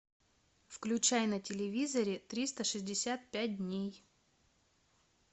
включай на телевизоре триста шестьдесят пять дней